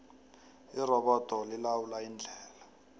irobodo lilawula indlela